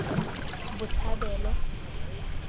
botshabelo